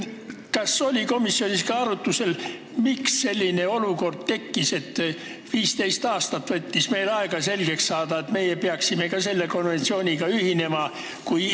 Kas komisjonis oli arutusel, miks selline olukord tekkis, et meil võttis 15 aastat aega jõuda järeldusele, et meie peaksime ka selle konventsiooniga ühinema?